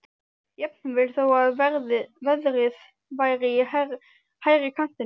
Jafnvel þó að verðið væri í hærri kantinum.